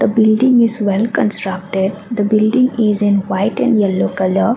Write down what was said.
building is well constructed the building is in white and yellow colour.